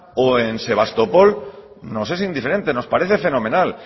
o en sebastopol nos es indiferente nos parece fenomenal